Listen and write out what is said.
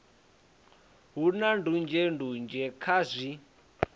hu na ndunzhendunzhe kha zwi